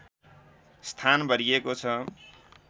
स्थान भरिएको छ